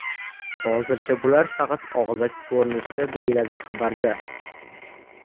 Hozircha bular faqat og‘zaki ko‘rinishda”, deyiladi xabarda.